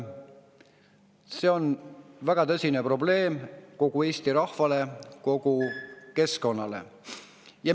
See on väga tõsine probleem kogu Eesti rahvale, kogu keskkonnale.